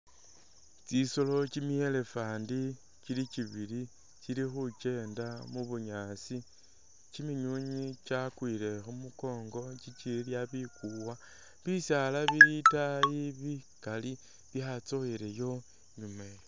Tsisolo kimi elephant kili kibili kili khukenda mubunyaasi kiminywinywi kyakwile khumukongo kikilya bikuwa, bisaala bili itaayi bikali byatsoowelayo nu...